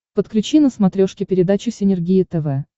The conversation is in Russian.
подключи на смотрешке передачу синергия тв